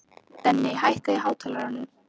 Denni, hækkaðu í hátalaranum.